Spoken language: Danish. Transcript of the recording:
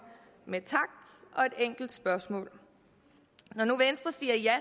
med tak og et enkelt spørgsmål når nu venstre siger ja